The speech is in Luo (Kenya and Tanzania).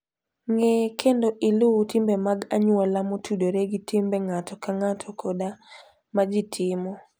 Ng'e kendo iluw timbe mag anyuola motudore gi timbe ng'ato ka ng'ato koda ma ji timo.